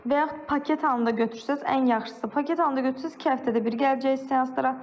Və yaxud paket halında götürsəz ən yaxşısı paket halında götürsəz iki həftədə bir gələcək seanslara.